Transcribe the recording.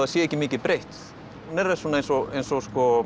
sé ekki mikið breytt hún er eins og eins og